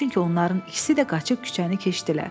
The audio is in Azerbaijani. Çünki onların ikisi də qaçıb küçəni keçdilər.